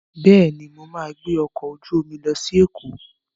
Bẹ́ẹ̀ni, mo ma gbẹ́ ọkọ̀ ojú omi lọ sí Èkó